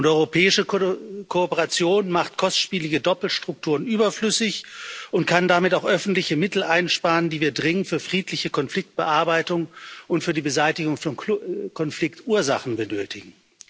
Europäische Kooperation macht kostspielige Doppelstrukturen überflüssig und kann damit auch öffentliche Mittel einsparen, die wir dringend für friedliche Konfliktbearbeitung und für die Beseitigung von Konfliktursachen benötigen.